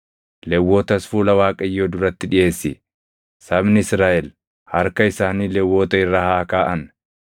Lewwotas fuula Waaqayyoo duratti dhiʼeessi; sabni Israaʼel harka isaanii Lewwota irra haa kaaʼan.